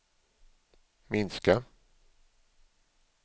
minska